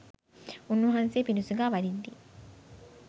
උන්වහන්සේ පිඬු සිඟා වඩිද්දී